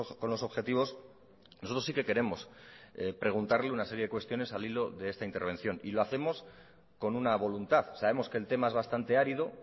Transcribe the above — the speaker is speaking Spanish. con los objetivos nosotros sí que queremos preguntarle una serie de cuestiones al hilo de esta intervención y lo hacemos con una voluntad sabemos que el tema es bastante árido